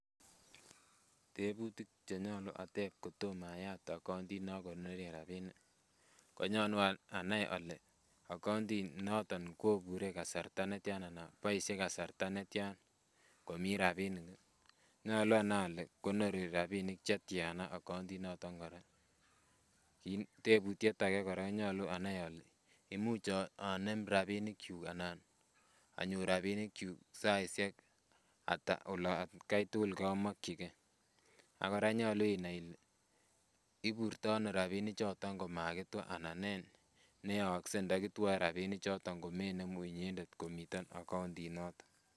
Tebutik chenyolu atep kotom ayat akauntit nokonoren rapinik ko nyolu anai ole akauntit noton kobure kasarta netyan ana boisie kasarta netyan komii rapinik nyolu anai ole konori rapinik chetyana akauntit noton kora. Tebutiet ake kora nyolu anai ole imuch onem rapinik kyuk anan anyor rapinik kyuk saisiek ata atkai tugul komokyingee ak kora nyolu inai ile iburtoo ano rapinik choton komakitwa ana nee neyookse ndo kitwoe rapinik choton komenemu inyendet komiten akauntit noton